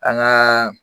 An ŋaa